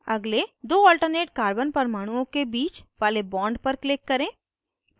अगले दो alternate carbon परमाणुओं के बीच वाले bond पर click करें